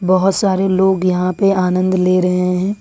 बहुत सारे लोग यहां पर आनंद ले रहे हैं।